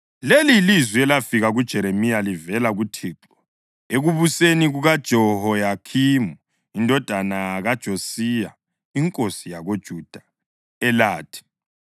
Leli yilizwi elafika kuJeremiya livela kuThixo ekubuseni kukaJehoyakhimi indodana kaJosiya inkosi yakoJuda, elathi,